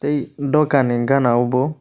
tei doka ni gana o bo.